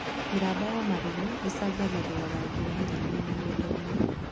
Mĩramba ya marigũ ĩcangagĩra rangi wa nyeni mĩgũnda-inĩ